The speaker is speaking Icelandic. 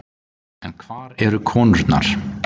En hvar eru konurnar?